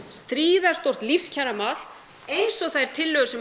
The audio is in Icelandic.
gríðarstórt lífskjaramál eins og þær tillögur sem